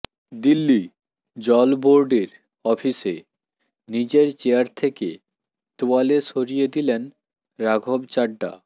দিল্লি জল বোর্ডের অফিসে নিজের চেয়ার থেকে তোয়ালে সরিয়ে দিলেন রাঘব চাড্ডা